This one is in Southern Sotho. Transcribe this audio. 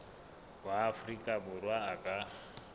wa afrika borwa a ka